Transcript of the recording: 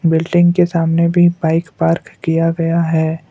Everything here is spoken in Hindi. बिल्डिंग के सामने भी बाइक पार्क किया गया है।